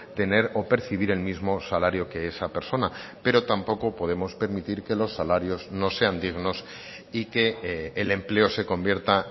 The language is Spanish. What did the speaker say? tener o percibir el mismo salario que esa persona pero tampoco podemos permitir que los salarios no sean dignos y que el empleo se convierta